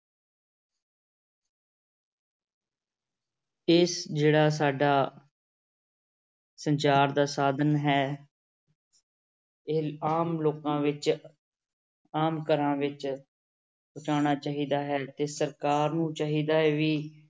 ਇਸ ਜਿਹੜਾ ਸਾਡਾ ਸੰਚਾਰ ਦਾ ਸਾਧਨ ਹੈ ਇਹ ਆਮ ਲੋਕਾਂ ਵਿੱਚ, ਆਮ ਘਰਾਂ ਵਿੱਚ ਪਹੁੰਚਾਉਣਾ ਚਾਹੀਦਾ ਹੈ, ਤੇ ਸਰਕਾਰ ਨੂੰ ਚਾਹੀਦਾ ਹੈ ਵੀ